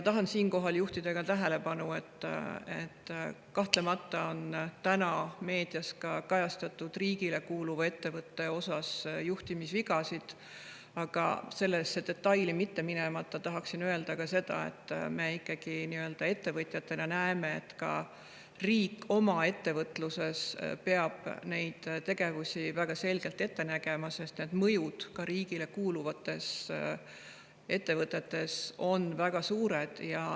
Tahan juhtida tähelepanu, et kahtlemata on täna ka meedias kajastust saanud riigile kuuluvas ettevõttes olnud juhtimisvigasid, aga detaili mitte minemata tahan öelda, et me ettevõtjatena ikkagi näeme, et ka riik oma ettevõtluses peab neid tegevusi väga selgelt ette nägema, sest need mõjud ka riigile kuuluvates ettevõtetes on väga suured.